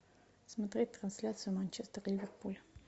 смотреть трансляцию манчестер ливерпуль